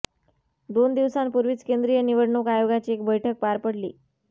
दोन दिवसापूर्वीच केंद्रीय निवडणूक आयोगाची एक बैठक पार पडली